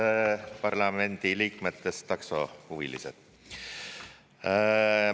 Head parlamendiliikmetest taksohuvilised!